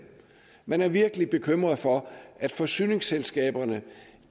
man er virkelig bekymret for at forsyningsselskaberne